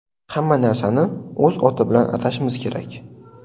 Hamma narsani o‘z oti bilan atashimiz kerak.